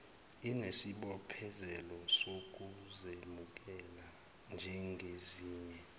inesibophezelo sokuzemukela njengezinye